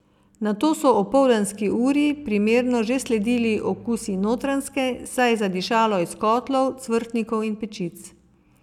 Nato so opoldanski uri primerno že sledili Okusi Notranjske, saj je zadišalo iz kotlov, cvrtnikov in pečic.